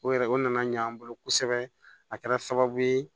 O yɛrɛ o nana ɲɛ an bolo kosɛbɛ a kɛra sababu ye